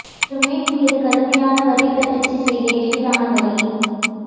ஒரு மேக் மீது கடுமையான வரி தட்டச்சு செய்ய எளிதான வழி